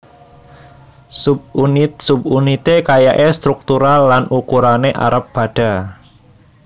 Subunit subunité kayaé sétruktural lan ukurané arep padha